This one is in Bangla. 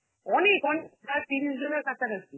অনেক অনেক, প্রায় তিরিশ জনের কাছাকাছি